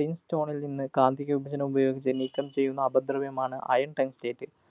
tin stone ല്‍ നിന്ന് കാന്തിക വിപചനം ഉപയോഗിച്ച് നീക്കം ചെയ്യുന്ന അപദ്രവ്യമാണ് iron tungstate.